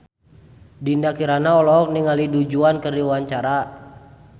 Dinda Kirana olohok ningali Du Juan keur diwawancara